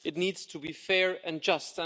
It needs to be fair and just.